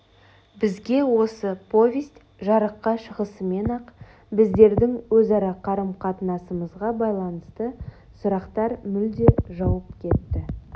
бізге осы повесть жарыққа шығысымен-ақ біздердің өзара қарым-қатынасымызға байланысты сұрақтар мүлде жауып кетті